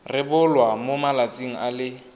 rebolwa mo malatsing a le